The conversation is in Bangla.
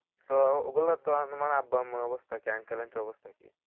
তো ওগুলো তো তোমার আম্মু আব্বার অবস্থা কি অবস্থা?